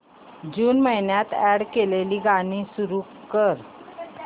जून महिन्यात अॅड केलेली गाणी सुरू कर